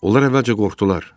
Onlar əvvəlcə qorxdular.